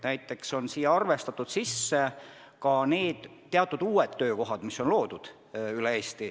Näiteks on sisse arvestatud ka teatud uued töökohad, mis on loodud üle Eesti.